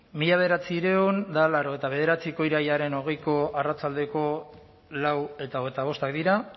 mila bederatziehun eta laurogeita bederatziko irailaren hogeiko arratsaldeko lau eta hogeita bostak dira